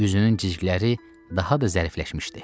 Üzünün cizgiləri daha da zərifləşmişdi.